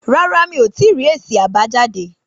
Rárá mí o tí rí èsì àbájáde